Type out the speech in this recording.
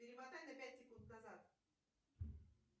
перемотай на пять секунд назад